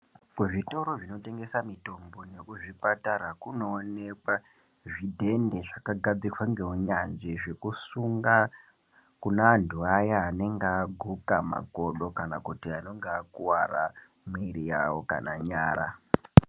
Kuzvitoro zvinotengesa mitombo nekuzvipatara kunoonekwa zvidhende zvakagadzirwa ngeunyanzvi zvekusunga kune antu aya anenge aguka magodo kana kuti anenge akuwara miri yavo kana nyara.